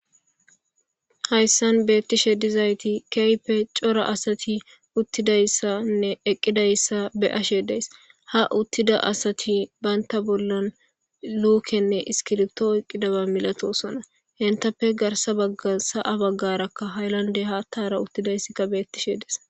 Hayssan beettishe diza asati keehippe cora asati ha uttidayssanne eqqidayssabe7ashe dayssi..ha uttida asti bantta bollan luukenne iskiripito oykidaaba melatoosona.garssa baggarakka haylandera haattay beettishe de7ees.